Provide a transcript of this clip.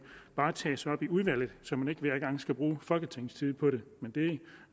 varetages i udvalget så man ikke hver gang skal bruge folketingets tid på det